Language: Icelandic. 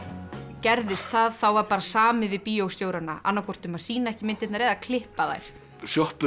gerðist það þá var bara samið við annað hvort um að sýna ekki myndirnar eða klippa þær